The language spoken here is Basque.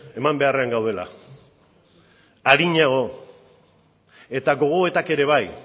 eman beharrean gaudela arinago eta gogoetak ere bai